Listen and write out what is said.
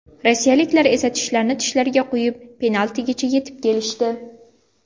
Rossiyaliklar esa tishlarini tishlariga qo‘yib, penaltigacha etib kelishdi.